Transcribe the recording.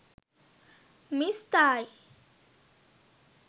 miss thai